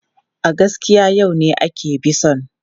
A gaskiya, yau ne ake bison.